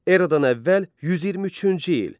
Eradan əvvəl 123-cü il.